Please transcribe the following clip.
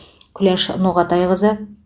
күләш ноғатайқызы